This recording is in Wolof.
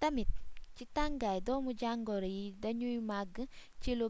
tamit ci tangaay doomu jangoro yi dagnuy magg cilu